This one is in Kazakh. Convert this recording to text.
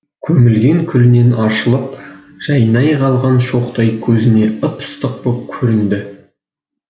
көмілген күлінен аршылып жайнай қалған шоқтай көзіне ып ыстық боп көрінді